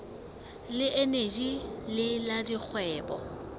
le eneji le la dikgwebo